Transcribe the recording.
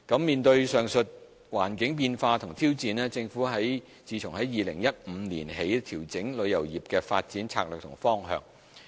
面對上述環境變化和挑戰，政府自2015年起調整旅遊業的發展策略和方向。